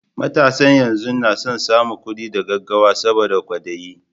Matasan yanzu na son samun kuɗi da gaggawa saboda kwaɗayi